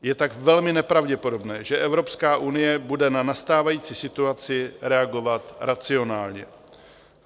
Je tak velmi nepravděpodobné, že Evropská unie bude na nastávající situaci reagovat racionálně.